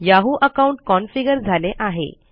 Yahoo account configure झाले आहे